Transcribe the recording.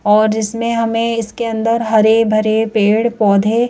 और इसमें हमें इसके अंदर हरे भरे पेड़ पौधे--